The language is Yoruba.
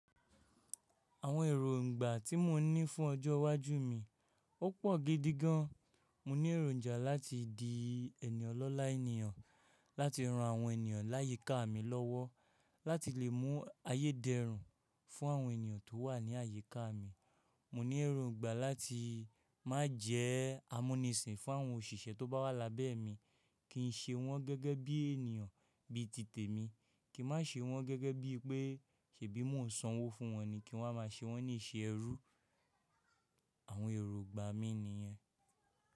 Àwọn èròǹgbà tí mò ń ní fún ọjọ́ iwájú mi, ó pọ̀ gidigan. Mò ní èròǹja láti di ènìyàn ọlọ́ lá ènìyàn, láti ran àwọn ènìyàn láyíká mi lọ́wọ́, láti lè mú ayédẹ́rùn fún àwọn ènìyàn tó wà ní àyíká mi. Mò ní èròǹgbà láti má jẹ́ amúnisìn fún àwọn òṣìṣẹ́ tó bá wà lábẹ́ mi. Kì n ṣe wọ́n gẹ́gẹ́ bí ènìyàn bí tìtẹ̀ mi, kí má ṣe wọ́n gẹ́gẹ́ bí pé ṣèbí mò ń sanwó fún wọn ni, kí wọ́n máa ṣe wọ́n ní ìṣe ẹrú. Àwọn èròǹgbà mi nìyẹn.